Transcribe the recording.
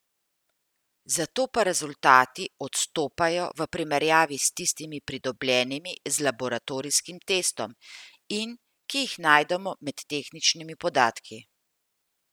Zato pa rezultati odstopajo v primerjavi s tistimi pridobljenimi z laboratorijskim testom in, ki jih najdemo med tehničnimi podatki.